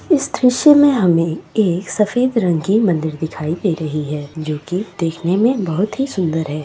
इस दृश्य में हमें एक सफेद रंग की मंदिर दिखाई दे रही है जो की देखने में बहुत ही सुंदर है।